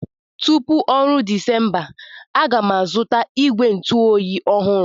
Tupu oru Disemba, A ga m azụta igwe ntu oyi ọhụrụ.